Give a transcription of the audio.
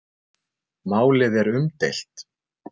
Málið er umdeilt.